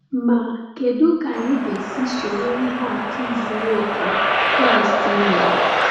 Ma kedu ka anyị ga-esi soro ihe atụ zuru oke Kraịst nyere?